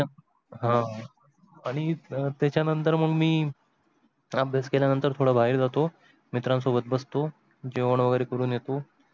हा आन्ही त्याचा नतर मी अभ्यास केल्या नतर थोड बाहेर जातो मित्रासोबत बसतो जेवण वगेरे करून येतो.